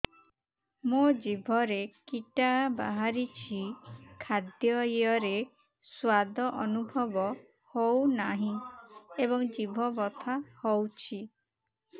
ମୋ ଜିଭରେ କିଟା ବାହାରିଛି ଖାଦ୍ଯୟରେ ସ୍ୱାଦ ଅନୁଭବ ହଉନାହିଁ ଏବଂ ଜିଭ ବଥା ହଉଛି